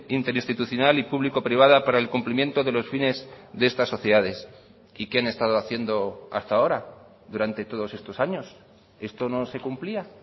interinstitucional y público privada para el cumplimiento de los fines de estas sociedades y qué han estado haciendo hasta ahora durante todos estos años esto no se cumplía